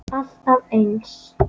Alltaf eins.